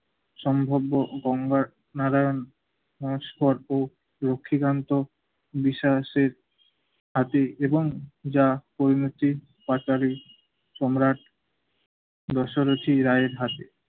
সম্ভব্য গঙ্গার নারায়ণ লক্ষ্মীকান্ত বিশ্বাসের আতি এবং যা পরিণতি পাচালে সম্রাট দর্শকের সেই রায়ের হাতে